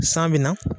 San bɛ na